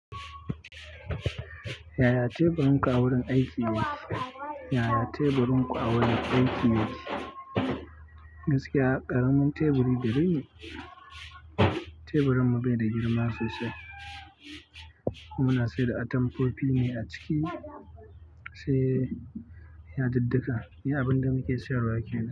Yaya teburin ku a wurin aiki yake? Yaya teburin ku a wurin aiki yake? Gaskiya ƙaramin teburi gare ni. Teburin mu bai da girma sosai, kuma ina sayar da atamfofi ne a ciki, sai yadudduka. Ni abin da nake sayarwa kenan.